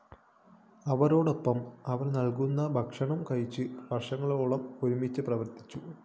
അവരോടൊപ്പം അവര്‍ നല്‍കുന്ന ഭക്ഷണം കഴിച്ച് വര്‍ഷങ്ങളോളം ഒരുമിച്ച് പ്രവര്‍ത്തിച്ചു